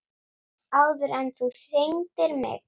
Áður en þú signdir mig.